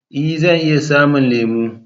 Ee! Zan iya samun lemo